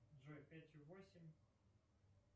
джой пятью восемь